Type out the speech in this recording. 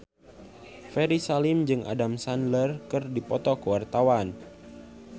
Ferry Salim jeung Adam Sandler keur dipoto ku wartawan